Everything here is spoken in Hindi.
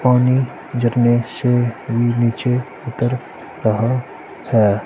पानी झरने से भी नीचे उतर रहा है।